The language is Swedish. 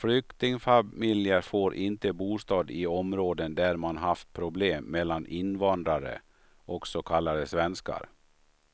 Flyktingfamiljer får inte bostad i områden där man haft problem mellan invandrare och så kallade svenskar.